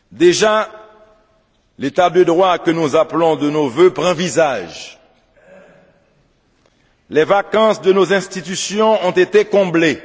Déjà, l'État de droit que nous appelons de nos vœux prend visage les vacances de nos institutions ont été comblées